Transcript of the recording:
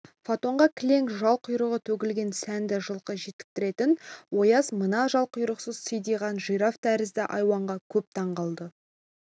фаэтонға кілең жал-құйрығы төгілген сәнді жылқы жектіретін ояз мына жал-құйрықсыз сидиған жираф тәріздес айуанға көп таң қалды